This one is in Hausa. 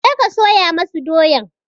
Je ka soya masu doyan!